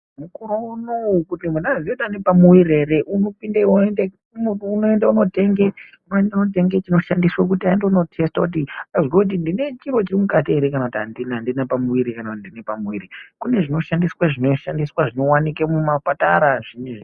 Mukore unouya kuti munhu azive kuti anepamuiri here unopinde oende kunotenge ,chinoshandiswa kuti atono testa kuti azive kuti ndine chiro chirimukati here kana kuti handina pamuiri kana kuti ndine pamuiri. Kune zvinoshandiswa zvinowanike mumapatara.